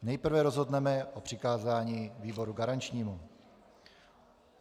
Nejprve rozhodneme o přikázání výboru garančnímu.